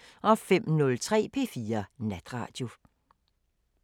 05:03: P4 Natradio